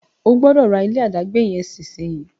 O gbódò rà ilé adagbe yen nísìsiyìí!